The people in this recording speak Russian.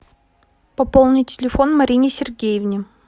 пополни телефон марине сергеевне